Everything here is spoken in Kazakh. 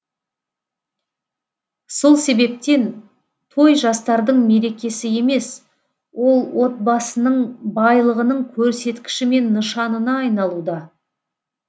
сол себептен той жастардың мерекесі емес ол отбасының байлығының көрсеткіші мен нышанына айналуда